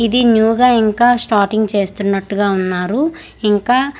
ఇది న్యూ గా ఇంకా స్టార్టింగ్ చేస్తున్నట్టుగా ఉన్నారు ఇంకా--